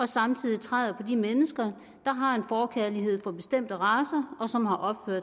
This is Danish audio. samtidig træder på de mennesker der har en forkærlighed for bestemte racer og som har